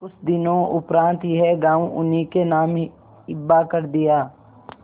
कुछ दिनों उपरांत यह गॉँव उन्हीं के नाम हिब्बा कर दिया